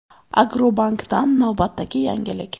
Agrobankdan navbatdagi yangilik!.